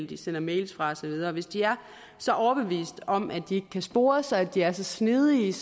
de sender mails fra og så videre hvis de er så overbevist om at de ikke kan spores og at de er så snedige